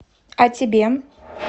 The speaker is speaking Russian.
а тебе